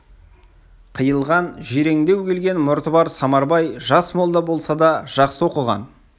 қиылған жирендеу келген мұрты бар самарбай жас молда болса да жақсы оқыған